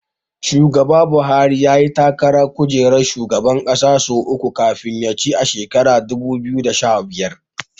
Shugaba Buhari yayi takarar kujerar shugaban ƙasa sau uku kafin ya ci a shekarar dubu biyu da sha biyar.